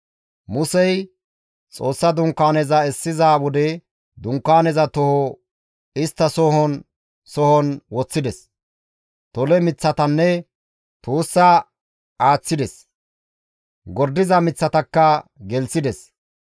Musey Xoossa Dunkaaneza essiza wode Dunkaaneza toho istta sohon sohon woththides; tole miththatanne tuussaa aaththides; gordiza miththatakka gelththides.